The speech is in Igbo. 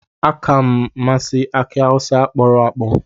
Aka m masi aki awusa kporo-akpo.